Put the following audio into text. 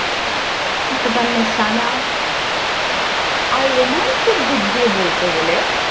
saku karlo sana আর romance এর দিক দিয়ে বলতে গেলে।